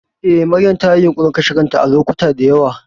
Eh, Maryam tayi yunƙurin kashe kanta a lokacuta da yawa.